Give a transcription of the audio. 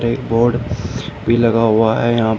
एक बोर्ड भी लगा हुआ है यहां--